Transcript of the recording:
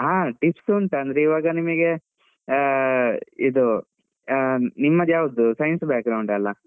ಹಾ tips ಉಂಟು ಇವಾಗ ನಿಮ್ಗೆ ಆ ಇದು ಹ, ನಿಮ್ಮದು ಯಾವ್ದು science ಅಲ.